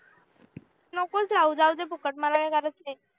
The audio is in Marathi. नकोच लावू जाऊ दे फुकट मला काय गरज नाही